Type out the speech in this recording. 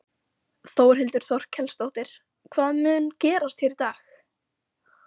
Þórhildur Þorkelsdóttir: Hvað mun gerast hérna í dag?